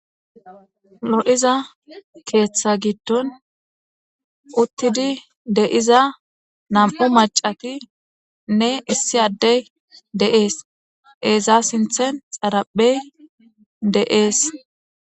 Lo7iza keeththa giddon uttidi deiza nam7u macati ne issi addey de7ees eeza sinthen xaraphey de7ees.